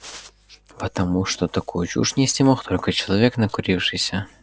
потому что такую чушь нести может только человек накурившийся